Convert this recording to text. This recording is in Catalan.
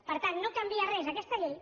per tant no canvia res aquesta llei